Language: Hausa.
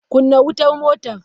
Kunna wutar motar!